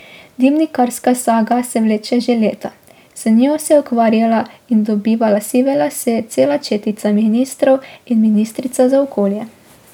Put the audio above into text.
Dimnikarska saga se vleče že leta, z njo se je ukvarjala in dobivala sive lase cela četica ministrov in ministrica za okolje.